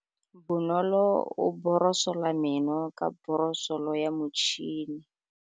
Bonolô o borosola meno ka borosolo ya motšhine.